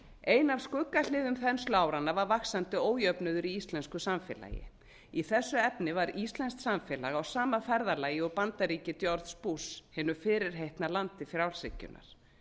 ein af skuggahliðum þensluáranna var vaxandi ójöfnuður í íslensku samfélagi í þessu efni var íslenskt samfélag á sama ferðalagi og bandaríki george bush hinu fyrirheitna landi frjálshyggjunnar